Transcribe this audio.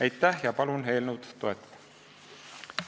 Aitäh ja palun eelnõu toetada!